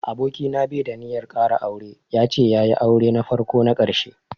Aboki na bai da ninyar ƙara aure, ya ce ya yi aure na farko na ƙarshe.